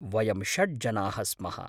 वयं षड्जनाः स्मः।